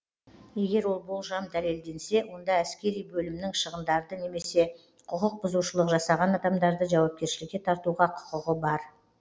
егер ол болжам дәлелденсе онда әскери бөлімнің шығындарды немесе құқық бұзушылық жасаған адамдарды жауапкершілікке тартуға құқығы бар